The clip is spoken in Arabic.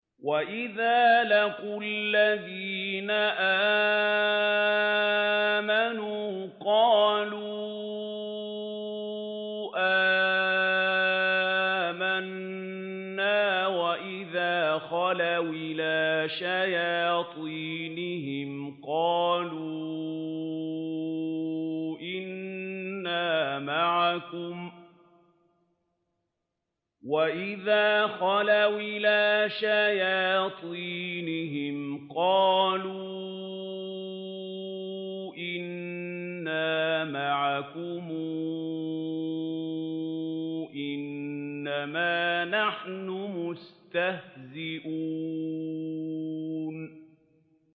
وَإِذَا لَقُوا الَّذِينَ آمَنُوا قَالُوا آمَنَّا وَإِذَا خَلَوْا إِلَىٰ شَيَاطِينِهِمْ قَالُوا إِنَّا مَعَكُمْ إِنَّمَا نَحْنُ مُسْتَهْزِئُونَ